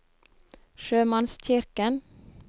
sjømannskirken